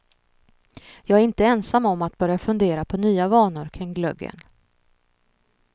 Jag är inte ensam om att börja fundera på nya vanor kring glöggen.